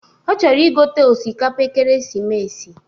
Ọ chọrọ igote osikapa ekeresimesi